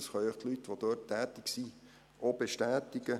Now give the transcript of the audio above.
Dies können auch die dort tätigen Leute bestätigen.